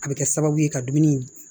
A bɛ kɛ sababu ye ka dumuni